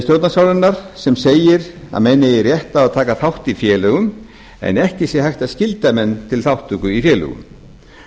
stjórnarskrárinnar sem segir að menn eigi rétt á að taka þátt í félögum en ekki sé hægt að skylda menn til þátttöku í félögum